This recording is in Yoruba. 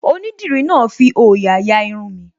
Onídìrí náà fi òyà ya Irun mi